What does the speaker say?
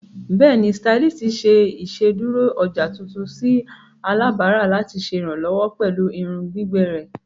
Bẹẹni, stylist ṣe iṣeduro ọja tuntun si alabara lati ṣe iranlọwọ pẹlu irun gbigbẹ rẹ.